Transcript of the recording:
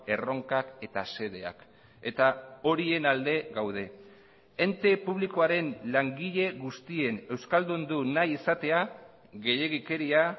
erronkak eta xedeak eta horien alde gaude ente publikoaren langile guztien euskaldundu nahi izatea gehiegikeria